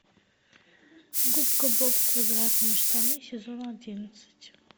губка боб квадратные штаны сезон одиннадцать